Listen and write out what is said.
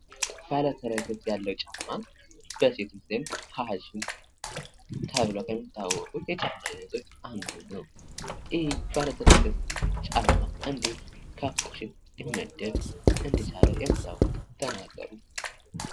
ባለተረከዝ ያለዉ ጫማ በሴቶች ዘንድ ፋሽን ተብለዉ ከሚታወቁት የጫማ አይነቶች አንዱ ነዉ። ይህ ባለተረከዝ ጫማ ከፋሽን ሊመደብ እንደቻለ የምታዉቁትን ተናገሩ?